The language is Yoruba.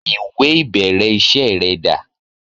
Ìwẹ̀ ìbẹ̀rẹ̀ iṣẹ́ rẹ dà?